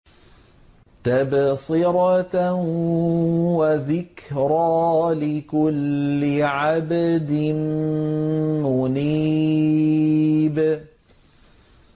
تَبْصِرَةً وَذِكْرَىٰ لِكُلِّ عَبْدٍ مُّنِيبٍ